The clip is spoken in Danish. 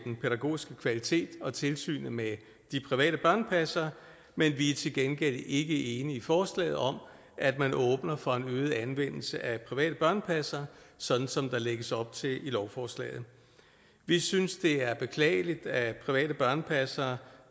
den pædagogiske kvalitet og tilsynet med de private børnepassere men vi er til gengæld ikke enige i forslaget om at man åbner for en øget anvendelse af private børnepassere sådan som der lægges op til i lovforslaget vi synes det er beklageligt at private børnepassere